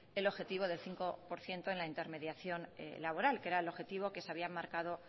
el objetivo de cinco por ciento en la intermediación laboral que era el objetivo que se habían marcado